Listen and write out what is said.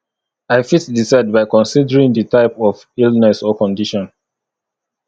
i fit decide by considering di type of illness or condition